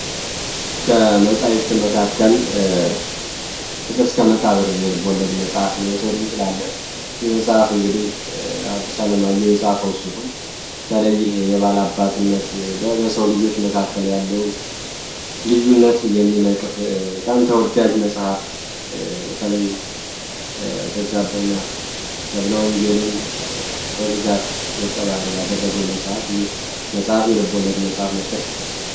ከመጻይፍት መካከል ፍቅር እስከ መቃብርን የልቦለድ መጽሐፍ መወሰድ እንችላለ ይህመጽሐፍ እንግዲህ አዲሳ ለማየው የጽፈው ሲሆን ተለይህ የባላባትነት በሰው ልጆች መካከል ያለውን ልዩነት የሚነቅፍ በጣም ተወዳጅ መጽሐፍ በተለይበዛ ብህና ዘብለወንጀልን በብዛት ገጸ ባህር ያደረገው መጽሐፍ ይህ መጽሐፍ የልቦለድ መጽሐፍ መጥከስ እችላል።